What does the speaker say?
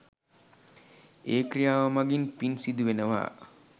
ඒ ක්‍රියාව මඟින් පින් සිදුවෙනවා.